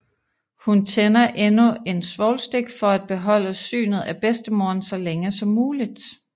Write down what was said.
Hun tænder endnu en svovlstik for at beholde synet af bedstemoren så længe som muligt